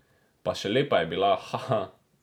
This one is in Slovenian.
Pa še lepa je bila, hahah!